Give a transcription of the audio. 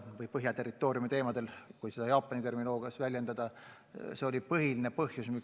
Kui kasutada Jaapani terminoloogiat, siis on tegu Põhjaterritooriumiga.